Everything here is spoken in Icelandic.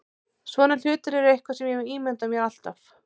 Svona hlutir eru eitthvað sem ég ímyndaði mér alltaf.